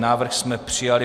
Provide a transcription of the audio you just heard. Návrh jsme přijali.